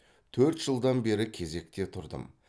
төрт жылдан бері кезекте тұрдым